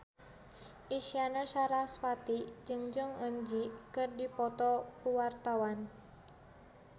Isyana Sarasvati jeung Jong Eun Ji keur dipoto ku wartawan